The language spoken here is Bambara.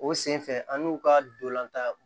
O senfɛ an y'u ka dolantan